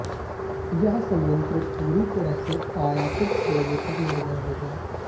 यह संयंत्र पूरी तरह से आयातित कोयले पर निर्भर होगा